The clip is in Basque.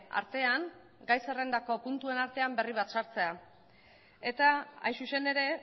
artean gai zerrendako puntuen artean berri bat sartzea eta hain zuzen ere